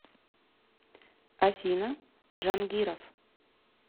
афина джангиров